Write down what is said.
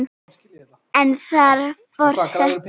en þar Forseti